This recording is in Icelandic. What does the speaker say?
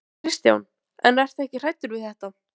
Ísbjörg var steinblind á hann pabba sinn.